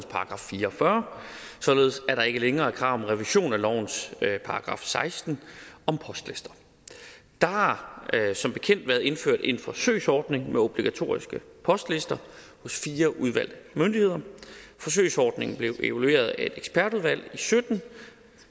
§ fire og fyrre således at der ikke længere er krav om revision af lovens § seksten om postlister der har som bekendt været indført en forsøgsordning med obligatoriske postlister hos fire udvalgte myndigheder forsøgsordningen blev evalueret af et ekspertudvalg og sytten